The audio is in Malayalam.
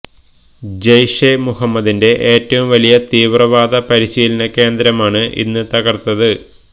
ജയ്ഷെ മുഹമ്മദിന്റെ ഏറ്റവും വലിയ തീവ്രവാദ പരിശീലന കേന്ദ്രമാണ് ഇന്ന് തകര്ത്തത്